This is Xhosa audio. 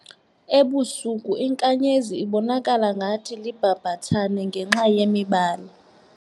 Ebusuku inkanyezi ibonakala ngathi libhabhathane ngenxa yemibala.